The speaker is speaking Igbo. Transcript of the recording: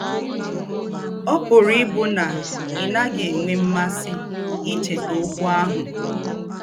Ọ̀ pùrù ìbù nà ì̀ nà-àghí ènwé m̀másí íchétà ókwú àhù.